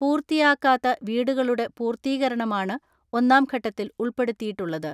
പൂർത്തിയാക്കാത്ത വീടുകളുടെ പൂർത്തീകരണമാണ് ഒന്നാം ഘട്ടത്തിൽ ഉൾപ്പെടുത്തിയിട്ടുള്ളത്.